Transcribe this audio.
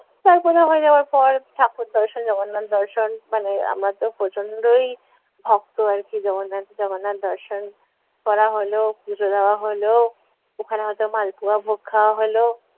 তারপর হয়ে যাওয়ার পর ঠাকুর দর্শন জগন্নাথ দর্শন মানে আমারা তো প্রচণ্ডই ভক্ত আর কী জগন্নাথ, জগন্নাথ দর্শন করা হলো পুজো দেওয়া হল ওখানে হয়তো মালপোয়া ভোগ খাওয়া হলো,